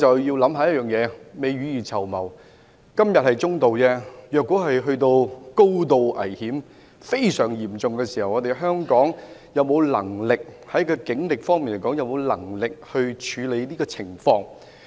今天的風險是"中度"，但如果遇到高度危險及非常嚴重的事件，香港警方究竟有沒有能力處理？